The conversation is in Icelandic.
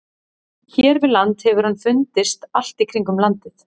Hér við land hefur hann fundist allt í kringum landið.